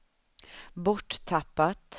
borttappat